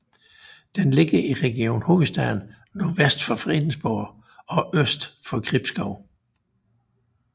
Den ligger i Region Hovedstaden nordvest for Fredensborg og øst for Gribskov